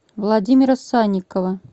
владимира санникова